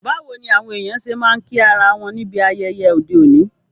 Báwoni àwon èyàn se ma n kí ara won níbi ayẹyẹ ọ́de òní?